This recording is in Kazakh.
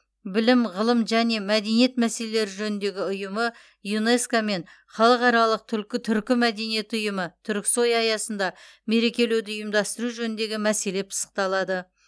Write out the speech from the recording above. білім ғылым және мәдениет мәселелері жөніндегі ұйымы юнеско мен халықаралық түркі түркі мәдениеті ұйымы түрксой аясында мерекелеуді ұйымдастыру жөніндегі мәселе пысықталады